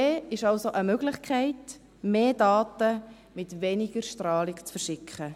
5G ist also eine Möglichkeit, mehr Daten mit weniger Strahlung zu verschicken.